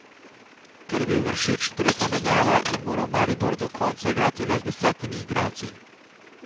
Ker je bil Vršič tretja menjava, je moral Maribor do konca igrati le z desetimi igralci.